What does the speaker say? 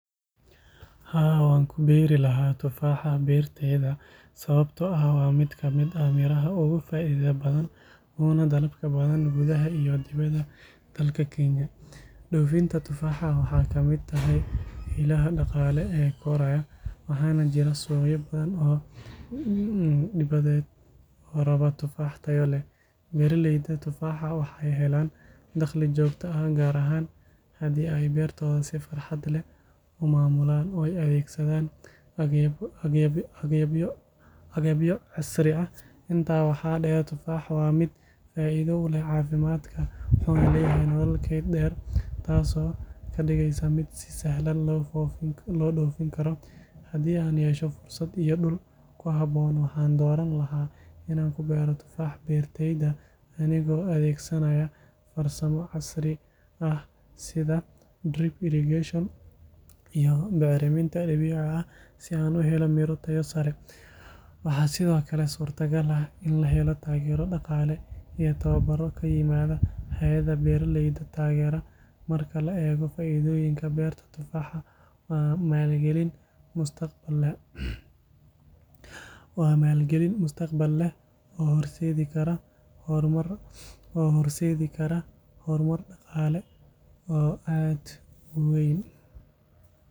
Haa, waan ku beeri lahaa tufaaxa beertayda sababtoo ah waa mid ka mid ah miraha ugu faa’iidada badan uguna dalabka badan gudaha iyo dibadda dalka Kenya. Dhoofinta tufaaxa waxay ka mid tahay ilaha dhaqaale ee koraya, waxaana jira suuqyo badan oo dibadeed oo raba tufaax tayo leh. Beeralayda tufaaxa waxay helaan dakhli joogto ah, gaar ahaan haddii ay beertooda si xirfad leh u maamulaan oo ay adeegsadaan agabyo casri ah. Intaa waxaa dheer, tufaaxa waa mid faa’iido u leh caafimaadka wuxuuna leeyahay nolol keyd dheer, taasoo ka dhigaysa mid si sahlan loo dhoofin karo. Haddii aan yeesho fursad iyo dhul ku habboon, waxaan dooran lahaa inaan ku beero tufaax beertayda anigoo adeegsanaya farsamooyin casri ah sida drip irrigation iyo bacriminta dabiiciga ah si aan u helo miro tayo sare leh. Waxaa sidoo kale suurtagal ah in la helo taageero dhaqaale iyo tababarro ka yimaada hay’adaha beeralayda taageera. Marka la eego faa’iidooyinkan, beerta tufaaxa waa maalgelin mustaqbal leh oo horseedi karta horumar dhaqaale oo weyn.